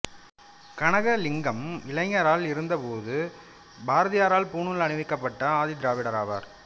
கனகலிங்கம் இளைஞராய் இருந்த போது பாரதியாரால் பூணூல் அணிவிக்கப்பட்ட ஆதி திராவிடர் ஆவார்